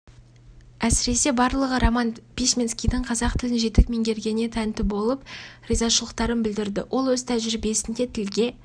әсіресе барлығы роман письменскийдің қазақ тілін жетік меңгергеніне тәнті болып ризашылықтарын білдірді ол өз тәжірибесінде тілге